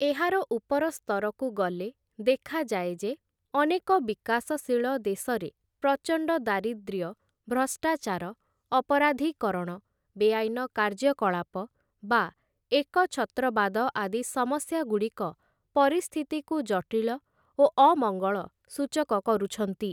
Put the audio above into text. ଏହାର ଉପରସ୍ତରକୁ ଗଲେ ଦେଖାଯାଏ ଯେ ଅନେକ ବିକାଶଶୀଳ ଦେଶରେ ପ୍ରଚଣ୍ଡ ଦାରିଦ୍ର୍ୟ ଭ୍ରଷ୍ଟାଚାର ଅପରାଧୀକରଣ ବେଆଇନ କାର୍ଯ୍ୟକଳାପ ବା ଏକଛତ୍ରବାଦ ଆଦି ସମସ୍ୟାଗୁଡ଼ିକ ପରିସ୍ଥିତିକୁ ଜଟିଳ ଓ ଅମଙ୍ଗଳ ସୂଚକ କରୁଛନ୍ତି ।